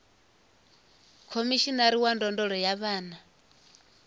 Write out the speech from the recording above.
khomishinari wa ndondolo ya vhana